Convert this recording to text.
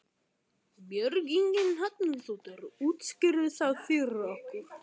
Björn Ingi Hrafnsson: Útskýrðu það fyrir okkur?